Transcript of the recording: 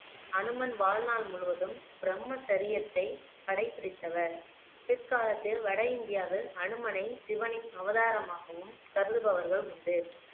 ஹனுமன் வாழ்நாள் முழுவதும் பிரம்மசரியத்தை கடைபிடித்தவர் பிற்காலத்தில் வட இந்தியாவில் ஹனுமனை சிவனின் அவதாரமாகவும் கருதுபவர்கள் உண்டு